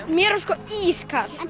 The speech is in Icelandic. mér var sko ískalt